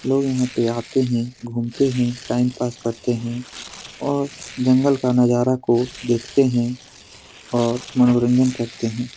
लोग यहाँ पे आते हैं घूमते हैं टाइम पास करते हैं और जंगल का नजारा को देखते हैं और मनोरंजन करते हैं।